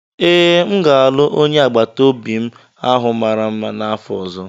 Ee, m ga-alụ onye agbata obi m ahụ mara mma n'afọ ọzọ.